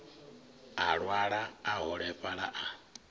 a lwala a holefhala a